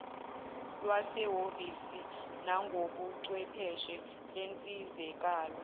lwasehhovisi nangobuchwepheshe lensizakalo